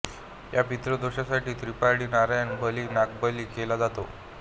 या पितृदोषासाठी त्रीपिंडी नारायण बली नागबली केला जातो